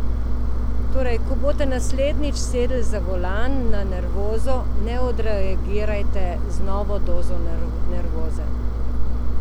Torej, ko boste naslednjič sedli za volan na nervozo ne odreagirajte z novo dozo nervoze.